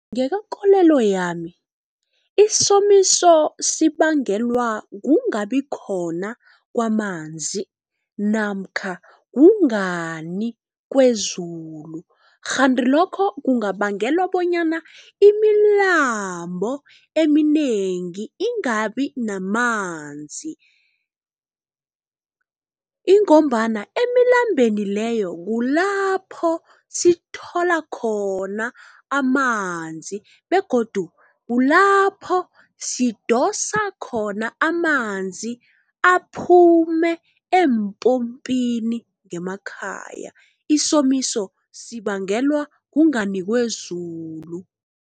Ngokwekolelo yami isomiso sibangelwa kungabikhona kwamanzi namkha kungani kwezulu. Kghani lokho kungabangela bonyana imilambo eminengi ingabi namanzi. Ingombana emilambeni leyo kulapho sithola khona amanzi begodu kulapho sidosa khona amanzi, aphume empompini ngemakhaya. Isomiso sibangelwa kungani kwezulu.